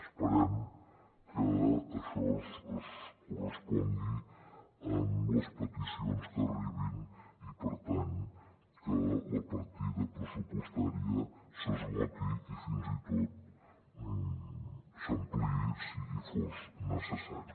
esperem que això es correspongui amb les peticions que arribin i per tant que la partida pressupostària s’esgoti i fins i tot s’ampliï si fos necessari